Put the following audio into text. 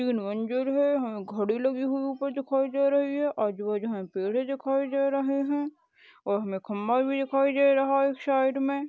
अंजूर में हमें घडी लगी हुवी उपर दिखाई दे रही है आजू बाजू हमें पेडे दिखाई दे रहे है और हमें खंबा भी दिखाई दे रहा है एक साईड में।